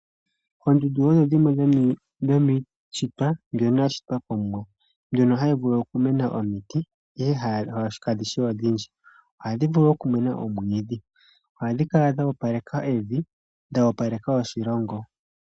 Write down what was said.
Oondunda odho dhimwe dho mishitwa dhono dha shitwa ko muwa, ndjono hayi vulu okumuna omiti iye kadhishi odhindji, oha dhivulu okumena omwidhi , oha dhikala dhopaleka evi dho odhopaleka oshilongo.